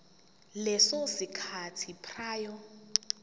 leso sikhathi prior